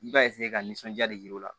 I b'a ka nisɔnja de yiriwa